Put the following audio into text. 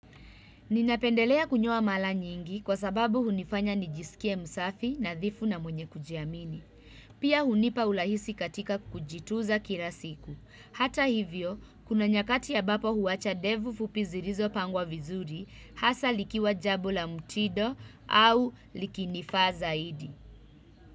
Ninapendelea kunyoa mara nyingi kwa sababu hunifanya nijisikie msafi na thifu na mwenye kujiamini. Pia hunipa urahisi katika kujitunza kila siku. Hata hivyo, kuna nyakati ambapo huwacha ndevu fupi zilizo pangwa vizuri hasa likiwa jambo la mtido. Au likinifaa zaidi.